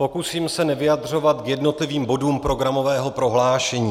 Pokusím se nevyjadřovat k jednotlivým bodům programového prohlášení.